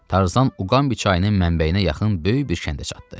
Tarzan Uqambi çayının mənbəyinə yaxın böyük bir kəndə çatdı.